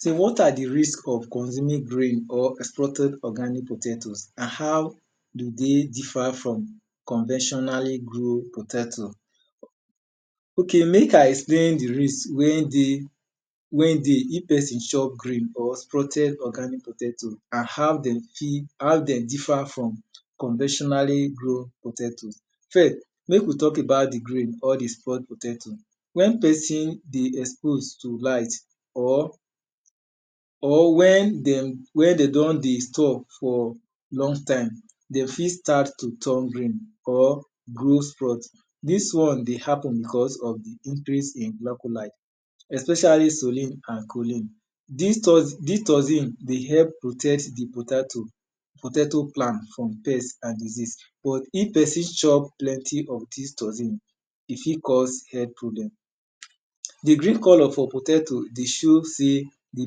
So wat are di risk of consuming grain or exploting organic potato and how do de differ from conventionally grown potato?. Ok mek I explain di risk wen dey if pesin chop grain or protein organi potato and how dem differ from conventionally grown potato. First mek we talk about di grain or di sprout potato, wen pesin dey expose to light, or wen dem don di store for long tie, de fit start to turn green or grow sprout. Dis won dey happen because of di increase in glacholide especially sullen and choline. Dis toxin dey help protect di potato plant from pest and disease but if pesin chop plenty of dis toxin, e fit cause health problem. Di green color for potato dey show sey di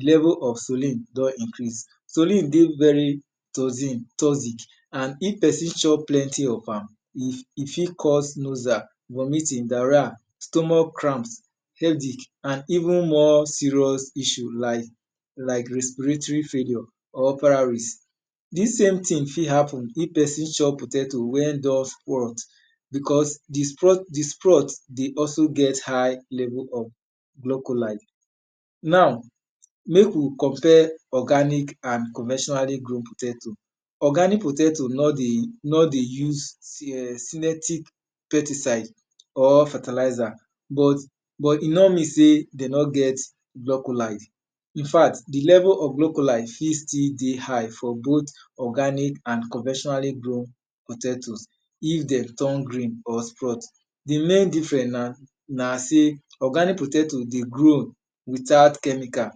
level of sullen don increase. Sullen dey very toxic and if pesin chop plenty of am, e fit cause nosia, vomiting, diarrhea, stomach cramps, headach and even more serious issue like respiratory failure. Because di sprout dey also get high level of glocholide. Nor mek we compare organic and conventionally grown potato. Organic potato no dey use selective pesticide or fertilizer but e no mean sey de no get glocholide infact di level of glocholide fit till dey hight for both organic and conventionally grown potato. If den turn green or sprout. Di main different na organic potato dey grow without chemical,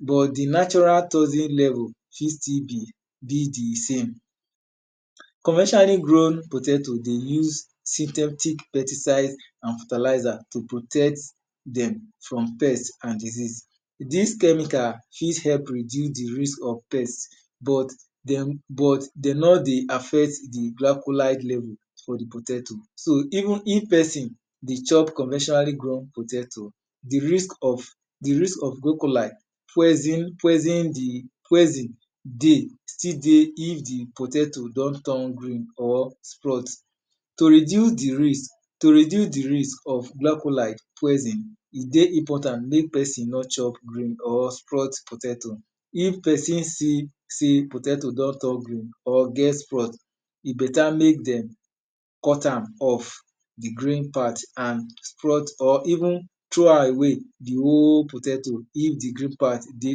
but di natural toxin level firt still be di same. Conventionally grown potato dey use synthetic pesticide and fertilizer to protect dem from pest and diseases. Dis chemical fit help reduce di risk of pest but dem no dey affect di glicholide level for di potato. So even if pesin dey chop conventionally grown potato, di risk of glocholid poison still dey if di potato don turn green or sprut. To reduce di raise of glo cholide, e dey important mek pesin no chop green or sprout potato. If pesin don see potato wy don turn green, e beta mek dem cut am or even throw am away di whole potato if di green part dey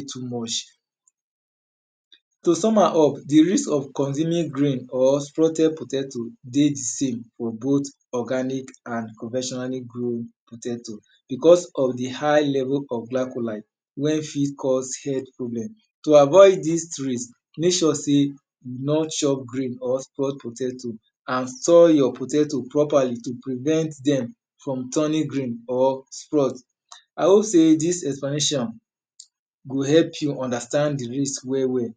too much. To sum am up di risk of consuming green or sprouted potato dey save for both organic and conventionally grown potato because of di high level of glicholide wen fit cause health problem. To avoid dis mek sure sey you no chop green or spout potato and sun your potato properly to prevent dem from turning green or sprout. I hope sey dis information go help you understand jdi risk well well.